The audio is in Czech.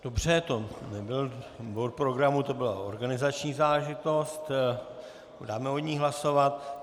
Dobře, to nebyl bod programu, to byla organizační záležitost, dáme o ní hlasovat.